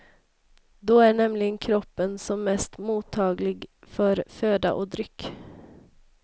Då är nämligen kroppen som mest mottaglig för föda och dryck.